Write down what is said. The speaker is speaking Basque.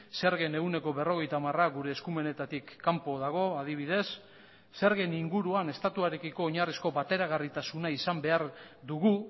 zergen ehuneko berrogeita hamara gure eskumenetatik kanpo dago adibidez zergen inguruan estatuarekiko oinarrizko bateragarritasuna izan behar dugu